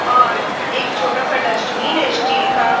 और एक छोटा सा डस्टबिन है स्टील का।